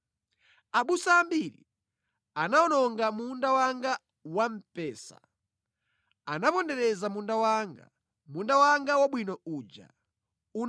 Abusa ambiri anawononga munda wanga wa mpesa, anapondereza munda wanga; munda wanga wabwino uja anawusandutsa chipululu.